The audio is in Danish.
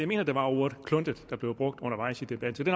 mener at det var ordet kluntet der blev brugt undervejs i debatten så det